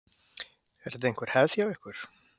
Er þetta einhver hefð hjá ykkur?